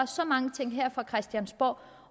så mange ting her fra christiansborgs